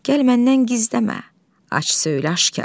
Gəl məndən gizləmə, aç söylə aşkar.